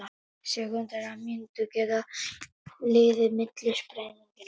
Sekúndur eða mínútur geta liðið milli sprenginga.